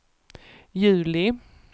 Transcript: juli